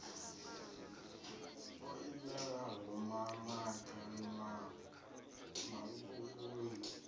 o imelaho mamaga na mavunu